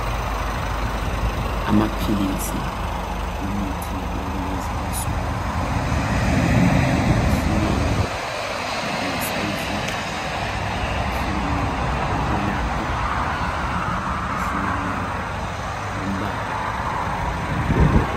Amaphilisi, imithi yalezinsuku, ahlukene ngesayizi, ahlukene ngokwelapha, ahlukwene ngombala.